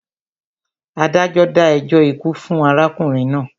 Adájọ́ dá ẹjọ́ ikú fún arákùnrin náà.